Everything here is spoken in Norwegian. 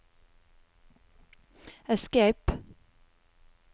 escape